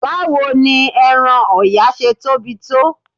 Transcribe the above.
Báwo ni ẹran Ọ̀yà ṣe tóbi tó?